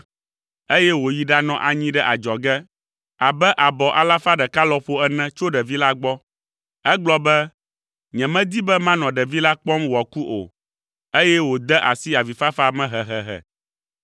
eye wòyi ɖanɔ anyi ɖe adzɔge abe abɔ alafa ɖeka lɔƒo ene tso ɖevi la gbɔ. Egblɔ be, “Nyemedi be manɔ ɖevi la kpɔm wòaku o,” eye wòde asi avifafa me hehehe.